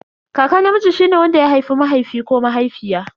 Kaka namiji shine wanda ya haifi mahaifi ko mahaifiya.